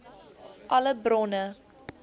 alle bronne